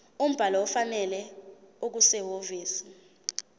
umbhalo ofanele okusehhovisi